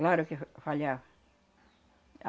Claro que falhava.